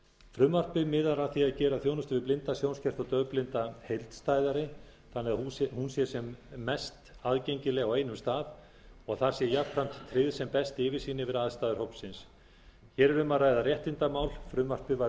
frumvarpið miðar að því að gera þjónustu við blinda sjónskerta og daufblinda heildstæðari þannig að hún sé sem mest aðgengileg á einum stað og að þar sé jafnframt tryggð sem best yfirsýn yfir aðstæður hópsins hér er um að ræða réttindamál frumvarpið var